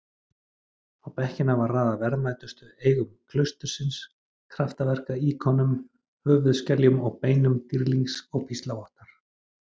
Á bekkina er raðað verðmætustu eigum klaustursins- kraftaverka-íkonum, höfuðskeljum og beinum dýrlings og píslarvottar.